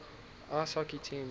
ice hockey teams